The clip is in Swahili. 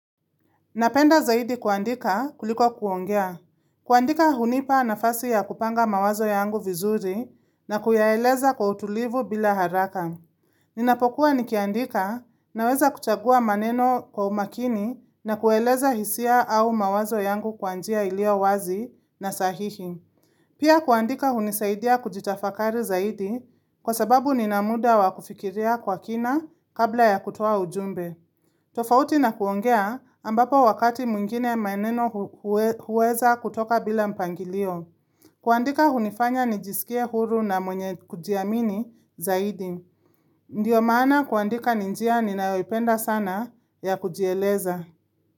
Napenda zaidi kuandika kuliko kuongea. Kuandika hunipa nafasi ya kupanga mawazo yangu vizuri na kuyaeleza kwa utulivu bila haraka. Ninapokuwa nikiandika naweza kuchagua maneno kwa umakini na kueleza hisia au mawazo yangu kwa njia iliyo wazi na sahihi. Pia kuandika hunisaidia kujitafakari zaidi kwa sababu nina muda wa kufikiria kwa kina kabla ya kutoa ujumbe. Tofauti na kuongea ambapo wakati mwingine maeneno hu huwe huweza kutoka bila mpangilio. Kuandika hunifanya nijisikie huru na mwenye kujiamini zaidi. Ndiyo maana kuandika ni njia ninayoipenda sana ya kujieleza.